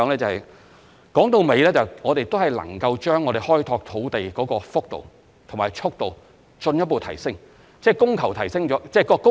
歸根究底，如果我們能夠將開拓土地的幅度和速度進一步提升，便能增加供應。